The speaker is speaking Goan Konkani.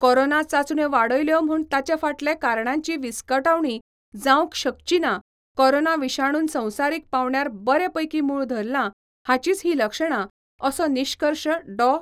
कोरोना चाचण्यो वाडयल्यो म्हूण ताचे फाटले कारणांची विस्कटावणी जावंक शकचीना कोरोना विशाणून संवसारीक पांवड्यार बरे पैकीं मूळ धरलां, हाचींच ही लक्षणां, असो निश्कर्श डॉ.